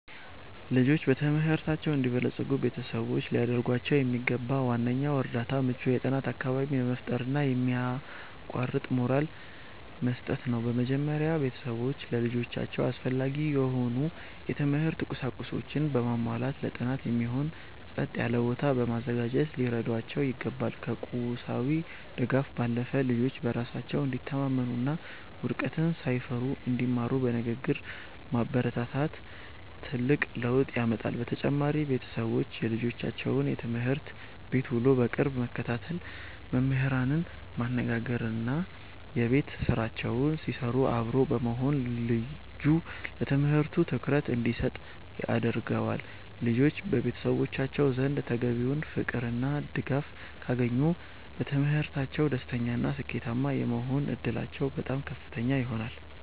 ልጆች በትምህርታቸው እንዲበለጽጉ ቤተሰቦች ሊያደርጉላቸው የሚገባው ዋነኛው እርዳታ ምቹ የጥናት አካባቢን መፍጠርና የማያቋርጥ ሞራል መስጠት ነው። በመጀመሪያ፣ ቤተሰቦች ለልጆቻቸው አስፈላጊ የሆኑ የትምህርት ቁሳቁሶችን በማሟላትና ለጥናት የሚሆን ጸጥ ያለ ቦታ በማዘጋጀት ሊረዷቸው ይገባል። ከቁሳዊ ድጋፍ ባለፈ፣ ልጆች በራሳቸው እንዲተማመኑና ውድቀትን ሳይፈሩ እንዲማሩ በንግግር ማበረታታት ትልቅ ለውጥ ያመጣል። በተጨማሪም፣ ቤተሰቦች የልጆቻቸውን የትምህርት ቤት ውሎ በቅርብ መከታተል፣ መምህራንን ማነጋገርና የቤት ስራቸውን ሲሰሩ አብሮ መሆን ልጁ ለትምህርቱ ትኩረት እንዲሰጥ ያደርገዋል። ልጆች በቤተሰቦቻቸው ዘንድ ተገቢውን ፍቅርና ድጋፍ ካገኙ፣ በትምህርታቸው ደስተኛና ስኬታማ የመሆን ዕድላቸው በጣም ከፍተኛ ይሆናል።